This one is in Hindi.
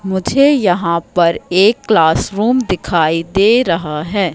मुझे यहां पर एक क्लास रूम दिखाई दे रहा है।